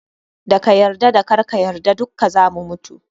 Da ka yarda da karka yarda dukka zamu mutu.